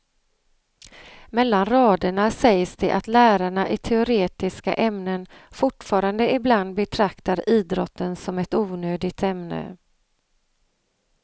Mellan raderna sägs det att lärarna i teoretiska ämnen fortfarande ibland betraktar idrotten som ett onödigt ämne.